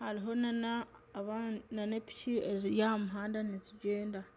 hariho nana epiki eziri aha muhanda nizigyenda.